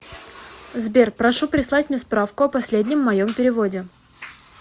сбер прошу прислать мне справку о последнем моем переводе